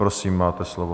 Prosím, máte slovo.